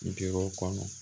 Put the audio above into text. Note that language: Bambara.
Gdow kɔnɔ